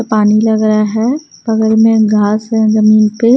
और पानी लग रहा है बगल में घास है जमीन पे।